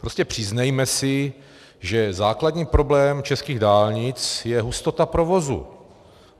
Prostě přiznejme si, že základní problém českých dálnic je hustota provozu.